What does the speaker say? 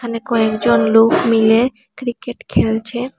এখানে কয়েকজন লোক মিলে ক্রিকেট খেলছে।